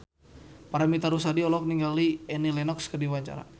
Paramitha Rusady olohok ningali Annie Lenox keur diwawancara